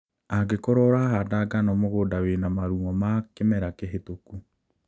Angĩkorwo ũrahanda ngano mũgũnda wĩna marung'o ma kĩmera kĩhĩtũku